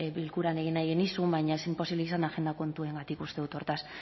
bilkuran egin nahi genizun baina ez zen posible izan agenda kontuengatik uste dut hortaz